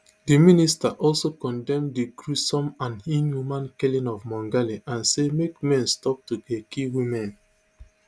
di minister also condemn di gruesome and inhumane killing of mongale and say make men stop to dey kill women